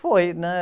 Foi, né?